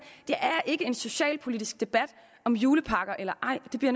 er ikke en socialpolitisk debat om julepakker eller ej det bliver